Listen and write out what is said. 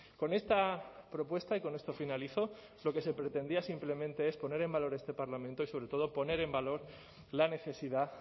con esta propuesta y con esto finalizo lo que se pretendía simplemente es poner en valor este parlamento y sobre todo poner en valor la necesidad